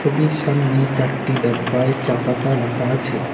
ছবির সামনে চারটি ডাব্বায় চা পাতা রাখা আছে।